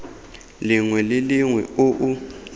lengwe le lengwe o o